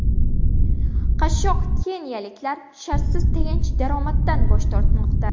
Qashshoq keniyaliklar shartsiz tayanch daromaddan bosh tortmoqda.